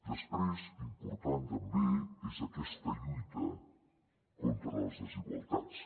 després important també és aquesta lluita contra les desigualtats